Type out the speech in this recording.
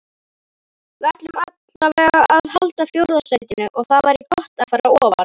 Við ætlum allavegana að halda fjórða sætinu og það væri gott að fara ofar.